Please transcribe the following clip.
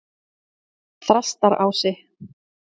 Þrastarási